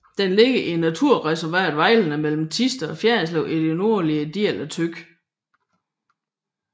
Den ligger i naturreservatet Vejlerne mellem Thisted og Fjerritslev i den nordligste del af Thy